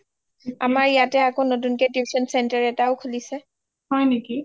আমাৰ ইয়াতে আকৌ নতুন কে tuition centre এটাও খুলিছে